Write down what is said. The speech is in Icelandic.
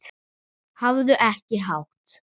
Hafðu ekki hátt!